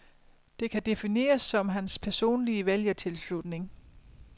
Det kan defineres som hans personlige vælgertilslutning.